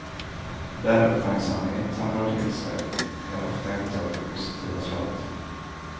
Den uppmärksamhet han drar till sig är ofta inte av det positiva slaget.